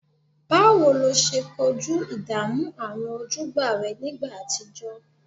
Báwo lo ṣe kojú ìdààmú àwọn ojúgbà rẹ nígbà àtijọ́?